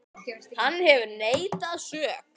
Hann hefur neitað sök.